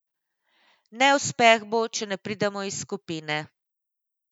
Neuspeh bo, če ne pridemo iz skupine.